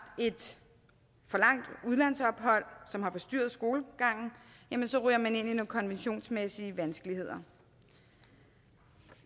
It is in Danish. et for langt udlandsophold som har forstyrret skolegangen så ryger man ind i nogle konventionsmæssige vanskeligheder